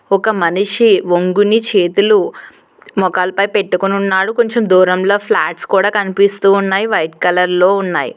ఒక మనిషి వంగుని చేతులు ముఖాలపై పెట్టుకొని ఉన్నాడు. కొంచెం దూరంలో ఫ్లాట్స్ కూడా కనిపిస్తూ ఉన్నాయి. వైట్ కలర్లో ఉన్నాయి.